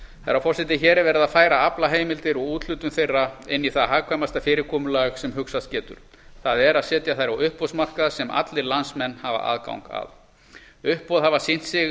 herra forseti hér er verið að færa aflaheimildir og úthlutun þeirra inn í það hagkvæmasta fyrirkomulag sem hugsast getur það er að setja þær á uppboðsmarkað sem allir landsmenn hafa aðgang að uppboð hafa sýnt sig